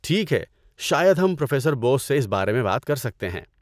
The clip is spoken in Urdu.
ٹھیک ہے، شاید ہم پروفیسر بوس سے اس بارے میں بات کر سکتے ہیں۔